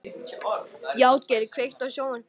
Játgeir, kveiktu á sjónvarpinu.